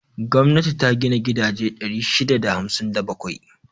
Gwamnati ta gina gidaje 657.